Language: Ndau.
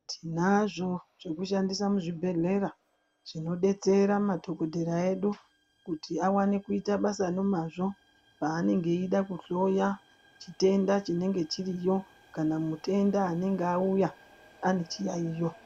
Tinazvo zvekushandisa muzvibhedhlera zvinodetsera madhokodheya edu kuti awane kuita basa nomazvo paanenge eida kuhloya chitenda chinenge chiriyo kana mutenda anenge auya ane chiyaiyo.